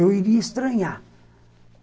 Eu iria estranhar.